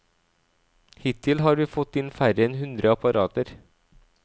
Hittil har vi fått inn færre enn hundre apparater.